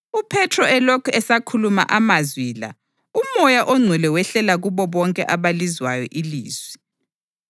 UPhethro elokhu esakhuluma amazwi la uMoya oNgcwele wehlela kubo bonke abalizwayo ilizwi.